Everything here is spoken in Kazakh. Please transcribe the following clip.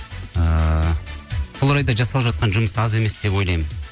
ыыы сол орайда жасалып жатқан жұмыс аз емес деп ойлаймын